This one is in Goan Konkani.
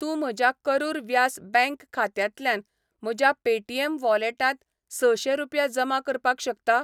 तूं म्हज्या करुर व्यास बँक खात्यांतल्यान म्हज्या पेटीएम वॉलेटांत सशे रुपया जमा करपाक शकता?